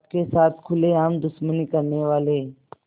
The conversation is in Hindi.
आपके साथ खुलेआम दुश्मनी करने वाले